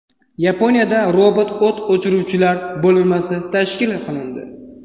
Yaponiyada robot o‘t o‘chiruvchilar bo‘linmasi tashkil qilindi.